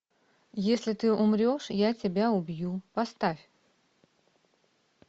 если ты умрешь я тебя убью поставь